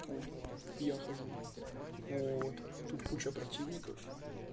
я хожу вот тут куча противников